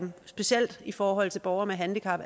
specielt i forhold til borgere med handicap